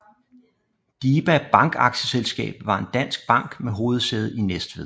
DiBa Bank Aktieselskab var en dansk bank med hovedsæde i Næstved